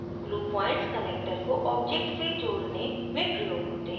glue points connector को object से जोड़ने में प्रयोग होते हैं